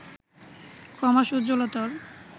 ক্রমশ উজ্জ্বলতর